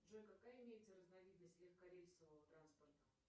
джой какая имеется разновидность легкорейсового транспорта